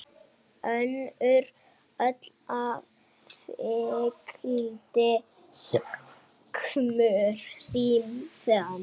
Önnur hola fylgdi skömmu síðar.